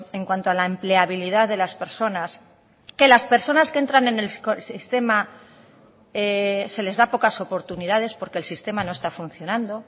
en cuanto a la empleabilidad de las personas que las personas que entran en el sistema se les da pocas oportunidades porque el sistema no está funcionando